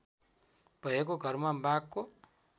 भएको घरमा बाघको